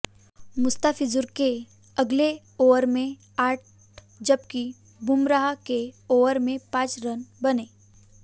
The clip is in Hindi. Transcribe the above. मुस्तफिजुर के अगले ओवर में आठ जबकि बुमराह के ओवर में पांच रन बने